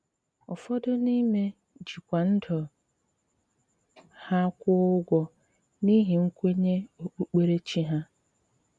Ụfọdụ n’ime jí kwá ndụ ha kwụọ ụgwọ n’íhí nkwényé okpukpéréchí ha.